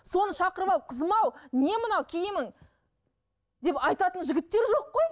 соны шақырып алып кызым ау не мынау киімің деп айтатын жігіттер жоқ қой